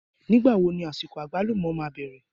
Nígbà wo ní àsìkò àgbálùmọ́ máa bẹ̀rẹ̀?